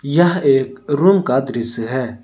यह एक रूम का दृश्य है।